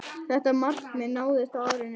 Þetta markmið náðist á árinu.